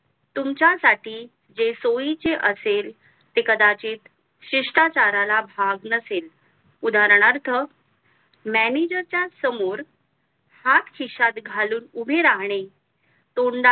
तुमच्या साठी जे सोइ चे असेल ते कदाचित शिष्ठा चारला भाग नसेल उदारना अर्थ mannager च्या समोर हात खिशात घालून उभे राहणे